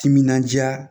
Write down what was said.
Timinandiya